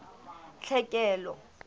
tlhekelo